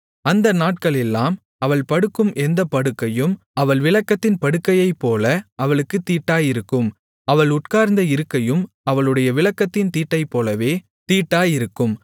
அந்த நாட்களெல்லாம் அவள் படுக்கும் எந்தப் படுக்கையும் அவள் விலக்கத்தின் படுக்கையைப்போல அவளுக்குத் தீட்டாயிருக்கும் அவள் உட்கார்ந்த இருக்கையும் அவளுடைய விலக்கத்தின் தீட்டைப்போலவே தீட்டாயிருக்கும்